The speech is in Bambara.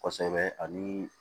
Kosɛbɛ ani